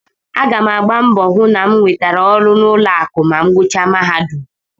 Aga m agba mbọ hụ na m nwetara ọrụ n'ụlọakụ ma m gụchaa mahadum